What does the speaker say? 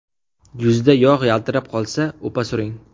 Yuzda yog‘ yaltirab qolsa, upa suring.